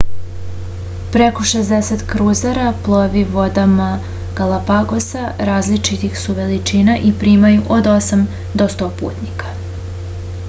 preko 60 kruzera plovi vodama galapagosa različitih su veličina i primaju od 8 do 100 putnika